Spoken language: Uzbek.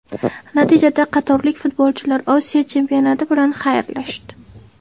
Natijada qatarlik futbolchilar Osiyo Chempionati bilan xayrlashdi.